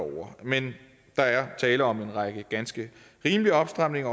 men der er tale om en række ganske rimelige opstramninger